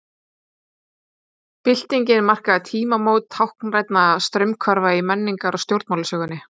byltingin markaði tímamót táknrænna straumhvarfa í menningar og stjórnmálasögunni